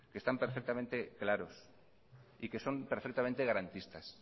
que están perfectamente claros y que son perfectamente garantistas